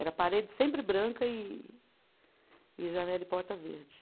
Era parede sempre branca e e janela e porta verde.